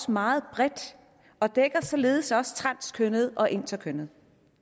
meget bredt og dækker således også transkønnede og interkønnede